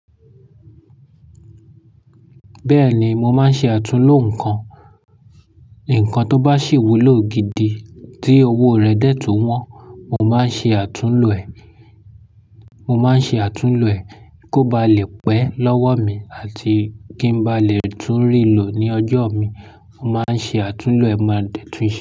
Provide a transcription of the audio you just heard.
Bẹ́ẹ̀ni, mo máa ń ṣe àtúnlò nǹkan. Ǹkan tó bá sì wúlò gidi tí owó rẹ̀ dẹ̀ tún wọ́n, mo máa ń ṣe àtúnlò ẹ̀. Mo máa ń ṣe àtúnlò ẹ̀ kó ba lè pẹ́ lọ́wọ́ mi àti kí n bá lè tún rí lọ ní ọjọ́ mi, mo máa ń ṣe àtúnlò ẹ̀ máa dẹ̀ tún ṣe.